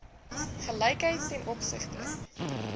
gelykheid ten opsigte